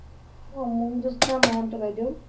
অ মঞ্জ্যতানা মহন্ত বাইদেউ